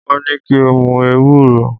Wọ́n ní kí n mu ewúro.